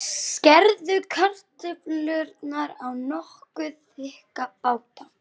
Skerðu kartöflurnar í nokkuð þykka báta.